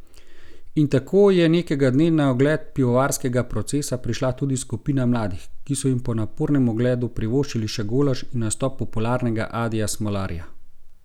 In tako je nekega dne na ogled pivovarskega procesa prišla tudi skupina mladih, ki so jim po napornem ogledu privoščili še golaž in nastop popularnega Adija Smolarja.